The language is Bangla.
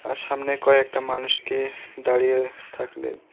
আর সামনে কয়েকটা মানুষকে দাঁড়িয়ে থাকলে--